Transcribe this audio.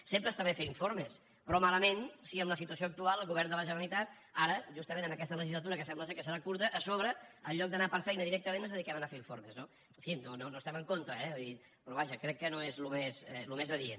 sempre està bé fer informes però malament si en la situació actual el govern de la generalitat ara justament en aquesta legislatura que sembla que serà curta a sobre en lloc d’anar per feina directament ens dediquem a anar a fer informes no en fi no estem en contra eh però vaja crec que no és el més adient